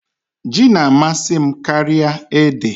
Ji na-amasị m karịa ede.